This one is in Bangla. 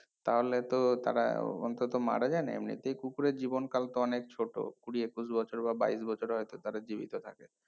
তাহলে তো তারা অন্তত মারা যায়না এমনিতেই কুকুরের জীবনকাল তো অনেক ছোট কুড়ি একুশ বছর বা বাইশ বছরে হয়তো তারা জীবিত থাকে